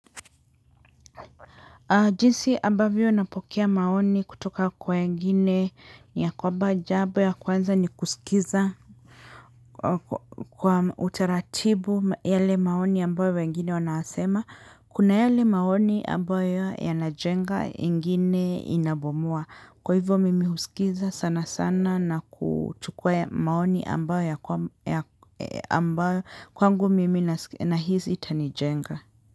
Jinsi ambavyo napokea maoni kutoka kwa wengine ya kwamba jambo la kwanza ni kusikiliza kwa utaratibu yale maoni ambayo wengine wanasema kuna yale maoni ambayo yanajenga mengine yanabomoa kwa hivyo mimi husikiliza sana sana na kuchukua maoni ambayo ya ambayo kwangu mimi nahisi yatanijenga.